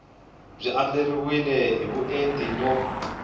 byi andlariwile hi vuenti no